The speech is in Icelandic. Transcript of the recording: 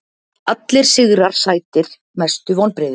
Allir sigrar sætir Mestu vonbrigði?